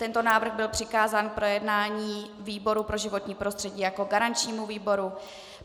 Tento návrh byl přikázán k projednání výboru pro životní prostředí jako garančnímu výboru.